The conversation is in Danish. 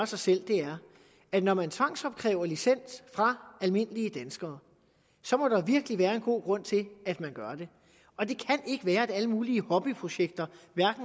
sig selv er at når man tvangsopkræver licens fra almindelige danskere så må der virkelig være en god grund til at man gør det og det kan ikke være at alle mulige hobbyprojekter